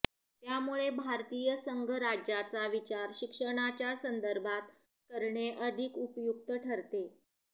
त्यामुळे भारतीय संघराज्याचा विचार शिक्षणाच्या संदर्भात करणे अधिक उपयुक्त ठरते